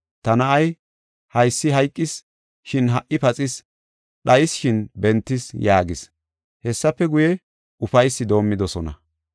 Ta na7ay haysi hayqis, shin ha77i paxis; dhayis, shin bentis’ yaagis. Hessafe guye, ufaysi doomidosona.